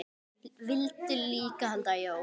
Vildu líka halda jól.